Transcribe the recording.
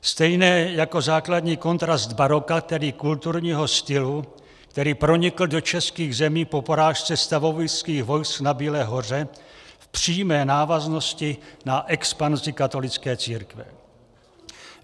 Stejně jako základní kontrast baroka, tedy kulturního stylu, který pronikl do českých zemí po porážce stavovských vojsk na Bílé hoře v přímé návaznosti na expanzi katolické církve.